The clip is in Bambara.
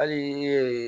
Hali